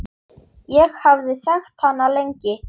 Ég hafði þekkt hana lengi.